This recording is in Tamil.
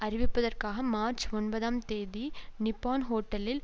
அறிவிப்பதற்காக மார்ச் ஒன்பதாம் தேதி நிப்பான் ஹோட்டலில்